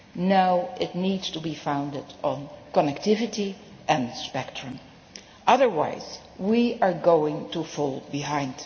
now it needs to be founded on connectivity and spectrum, otherwise we are going to fall behind.